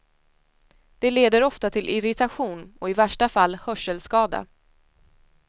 Det leder ofta till irritation och i värsta fall hörselskada.